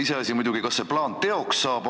Iseasi muidugi, kas see plaan teoks saab.